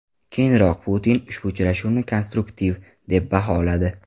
Keyinroq Putin ushbu uchrashuvni konstruktiv deb baholadi .